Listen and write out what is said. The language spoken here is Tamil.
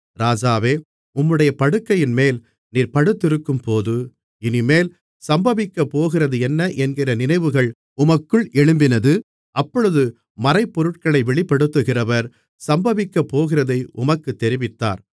ராஜாவே உம்முடைய படுக்கையின்மேல் நீர் படுத்திருக்கும்போது இனிமேல் சம்பவிக்கப்போகிறதென்ன என்கிற நினைவுகள் உமக்குள் எழும்பினது அப்பொழுது மறைபொருட்களை வெளிப்படுத்துகிறவர் சம்பவிக்கப்போகிறதை உமக்குத் தெரிவித்தார்